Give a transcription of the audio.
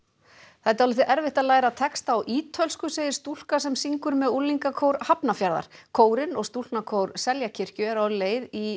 það er dálítið erfitt að læra texta á ítölsku segir stúlka sem syngur með unglingakór Hafnarfjarðar kórinn og stúlknakór Seljakirkju eru á leið í